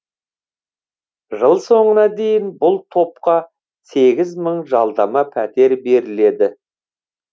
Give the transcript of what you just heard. жыл соңына дейін бұл топқа сегіз мың жалдамалы пәтер беріледі